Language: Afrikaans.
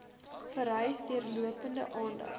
vereis deurlopende aandag